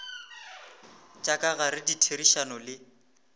tša ka gare ditherišano le